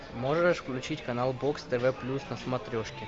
можешь включить канал бокс тв плюс на смотрешке